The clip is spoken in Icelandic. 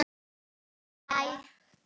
Þinn Skapti Örn. Elsku afi.